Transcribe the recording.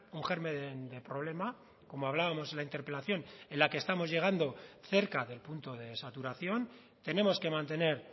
un germen de problema como hablábamos en la interpelación en la que estamos llegando cerca del punto de saturación tenemos que mantener